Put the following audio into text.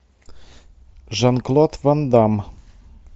жан клод ван дамм